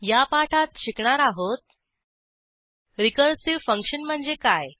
या पाठात शिकणार आहोत रिकर्सिव्ह फंक्शन म्हणजे काय